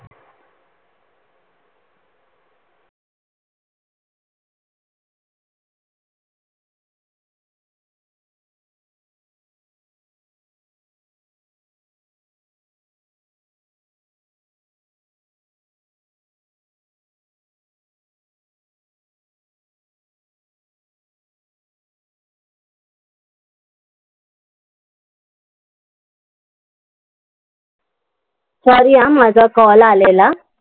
Sorry हा, माझा call आलेला.